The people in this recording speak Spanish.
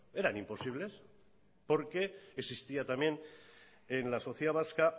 eran imposibles porque existía también en la sociedad vasca